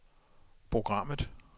programmet